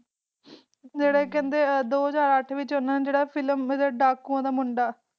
ਜੇਰੇ ਖਰੜੇ ਦੋ ਹਾਜਰ ਅਤਰਾ ਵਿਚ ਹਨ ਨੇ ਫਲਿਮ ਵੀ ਕੀਤੀ ਡਾਕੂਵਾ ਦਾ ਮੁੰਡਾ